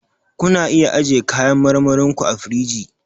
Ku na iya ajiye kayan marmarin ku a firiji.